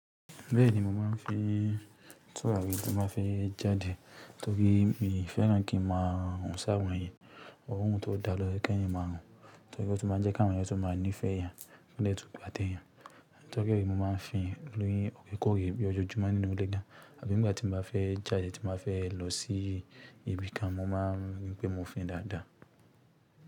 Bẹ́ẹ̀ni mo máa ń fi túrari tí mo báa fẹ́ jáde torí mi ò fẹ́ràn kí n máa run sawọ́n èèyàn, orun tó da lọ yẹ́ keyan máa run, torí ó tún máa jẹ́ káwọn yẹn tún máa ní ìfẹ́ eyan kí wọ́n dẹ̀ tún gbá teyan. Torí ẹ mo máa ń fi li orekoore bí ọjojumọ́ nínú ilé dá, àbí ìgbà tí mo bá fẹ́ jáde tí mo fẹ́ lọ sí ibi kan mo má ń rí pé mo ń fi dáadáa.